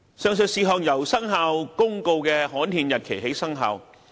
上述事項由《生效日期公告》的刊憲日期起生效。